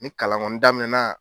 Ni kalan kɔni daminɛna